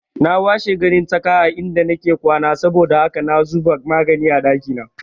Na washi ganin tsaka a inda nake kwana saboda haka na zuba magani a ɗakina